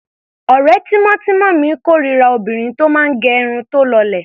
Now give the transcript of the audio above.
Ọ̀rẹ́ tímọ́tímọ́ mi kórira obìnrin tó máa gẹ irun tí ó lọlẹ̀.